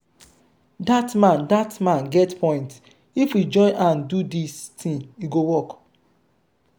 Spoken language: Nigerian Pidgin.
dat man dat man get point if we join hand do dis thing e go work.